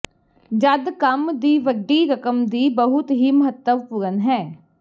ਜਦ ਕੰਮ ਦੀ ਵੱਡੀ ਰਕਮ ਦੀ ਬਹੁਤ ਹੀ ਮਹੱਤਵਪੂਰਨ ਹੈ